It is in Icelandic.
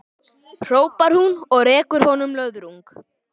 hrópar hún og rekur honum löðrung.